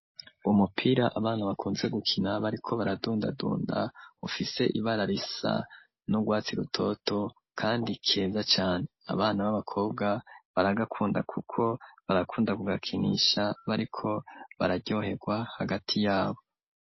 Umupira abana bakunze gukina bariko baradundadunda ufise ibara risa n'ubwatsi rutoto kandi keza cane, abana b'abakobwa baragakunda kuko barakunda kugakinisha bariko bararyohegwa hagati yabo.